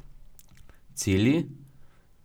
Cilji?